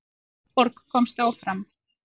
Árborg komst áfram